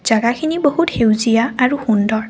জাগাখিনি বহুত সেউজীয়া আৰু সুন্দৰ।